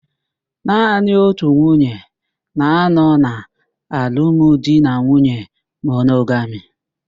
Naanị otu nwunye na-anọ na alụmdinanwuye monogami.